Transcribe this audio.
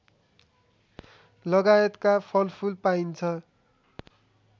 लगायतका फलफुल पाइन्छ